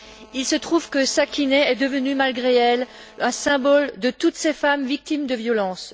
Il se trouve que Sakineh est devenue, malgré elle, un symbole de toutes ces femmes victimes de violences.